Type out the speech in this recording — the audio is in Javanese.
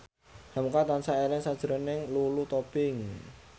hamka tansah eling sakjroning Lulu Tobing